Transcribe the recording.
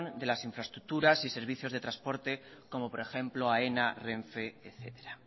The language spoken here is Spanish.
de las infraestructuras y servicios de transporte como por ejemplo aena renfe etcétera